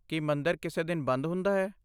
ਕੀ ਮੰਦਰ ਕਿਸੇ ਦਿਨ ਬੰਦ ਹੁੰਦਾ ਹੈ?